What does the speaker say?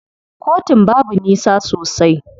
Kotun babu nisa sosai.